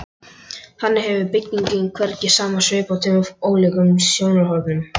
Þannig hefur byggingin hvergi sama svip frá tveimur ólíkum sjónarhornum.